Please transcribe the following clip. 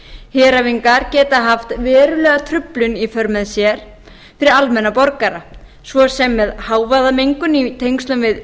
heræfingar geta haft verulega truflun í för með sér fyrir almenna borgara svo sem með hávaðamengun í tengslum við